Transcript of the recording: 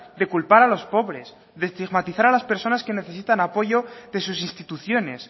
de culpar a los pobres de estigmatizar a las personas que necesitan apoyo de sus instituciones